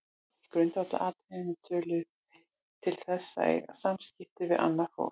Í grundvallaratriðum tölum við til þess að eiga samskipti við annað fólk.